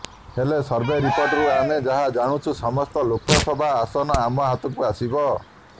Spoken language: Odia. ହେଲେ ସର୍ଭେ ରିପୋର୍ଟରୁ ଆମେ ଯାହା ଜାଣିଛୁ ସମସ୍ତ ଲୋକ ସଭା ଆସନ ଆମ ହାତକୁ ଆସିବ